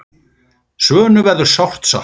Svönu verður sárt saknað.